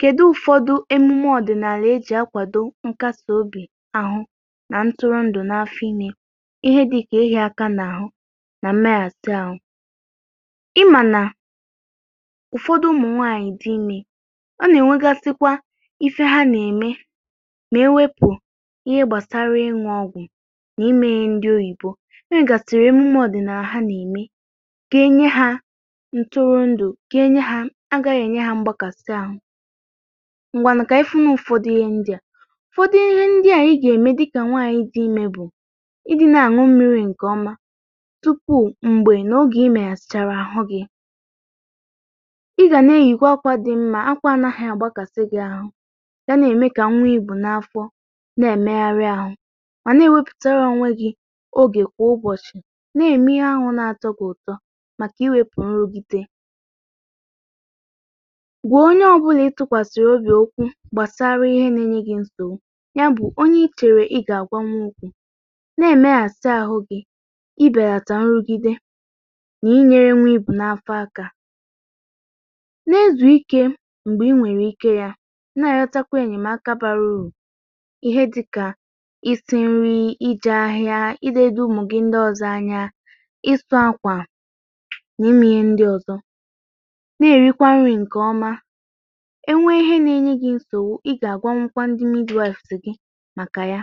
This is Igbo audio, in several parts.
Kedu ụfọdụ emume ọdịnala e ji akwado nkasi obi ahụ na ntụrụndụ̀ n’afịọ ime, ihe dịka ịhia aka n’ahụ na mmeghasị ahụ. Ị ma na ụ̀fọdụ ụmụ nwanyị dị ime, ọ na-enwegasị kwa ihe ha na-eme ma ewepụ ihe gbasara ịṅụ̇ ọgwụ na ime ndị oyibo. E nwegasịrị emume ọdịnala ha na-eme ga-enye ha ntụrụndụ, ga-enye ha agaghị enye ha mgbakasị ahụ. Ngwanụ ka anyị fụnụ ụ̀fọdụ ihe ndị a. Ụ̀fọdụ ihe ndị a i ga-eme dịka nwanyị dị ime bụ ịdị na-aṅụ mmiri nke ọma tupu mgbe na oge imeghasịchara ahụ gị. ị ga na-eyikwa akwa dị mma, akwa anaghị agbakasị gị ahụ ga na-eme ka nwa I bu n’afọ na-emegharị ahụ, ma na-ewepụtara onwe gị oge kwa ụbọchị na-eme ahụ na-atọ gị ụtọ maka iwepụ nrụgide. Gwa onye ọbụla ị tụkwasara obi okwu gbasara ihe na-enye gị nsogbu, ya bụ onye ị chere ị ga-agwanwu okwu. Na-emeghasị ahụ gị ịbelata nrụgide na-ịnyere nwa ị bu n’afọ aka. Na-ezu ike mgbe ị nwere ike ya, na-arịọtakwa enyemaka bara uru ihe dị̇ka ịsị nrị, ije ahịa, ịledo ụmụ gị ndị ọzọ anya, ịsụ akwa na ime ihe ndị ọzọ, na-erikwa nri nke ọma. E nwee ihe na-enye gị nsogbu, ị ga-agwanwukwa ndi midwaifs gị maka ya.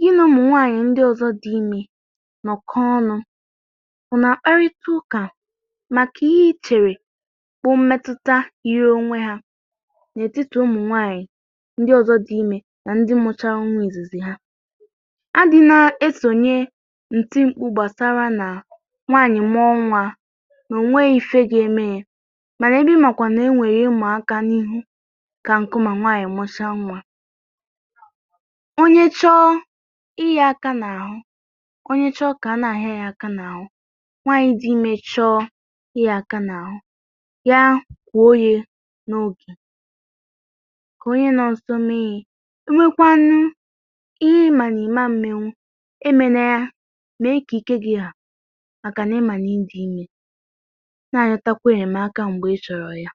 Gị na ụmụ nwanyị ndi ọzọ dị ime nọkọọ ọnụ, unu akparịta ụka maka ihe ị chere bụ mmẹtụta yiri onwe ya n’etiti ụmụ nwanyị ndi ọzọ dị ime na ndi mụchara nwa izizi ha. A dị na-esonye nti mkpu gbasara na nwanyị̀ mụọ nwa, na enweghị ihe ga-eme ya, mana ebe ị makwaara na e nwere ihe ịma aka n’ihu ka nkụ ma nwanyị mụchaa nwa onye chọ ịhịa aka n’ahụ onye chọ ka a na-ahịa ya aka n’ahụ, nwanyị dị ime chọọ ka a na-ahịa ya aka n’ahụ, ya kwo ya n’oge ka onye nọ ya nso mee ya. E nwekwaanụ ihe ị ma na ị ma mmenwu, emena ya. Mee ka ike gi ha, maka na ị ma na ị dị ime. Na-arịọtakwa enyemaka mgbe ị chọrọ ya. Maka o jiri speed ahụ o ji agba ọsọ, o ga-emerụ ezigbote ahu. Ọ na adị mma ka anyị gwakwa ụmụaka na ịgba ụdịrị ọsọ a anaghị adịcha mma maka ịda ada kotere onwe gị otu nsogbu ị gaghị apụtanwu na ya